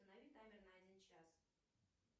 установи таймер на один час